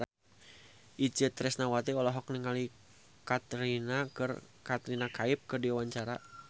Itje Tresnawati olohok ningali Katrina Kaif keur diwawancara